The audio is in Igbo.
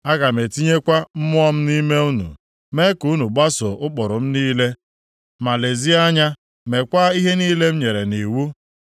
Aga m etinyekwa mmụọ m nʼime unu, mee ka unu gbaso ụkpụrụ m niile ma lezie anya mekwaa ihe niile m nyere nʼiwu.